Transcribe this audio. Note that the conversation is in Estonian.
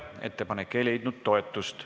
Ettepanek ei leidnud toetust.